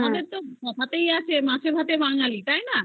আমাদের তো কোথায় আছে মাছ এ ভাতে বাঙালি তাই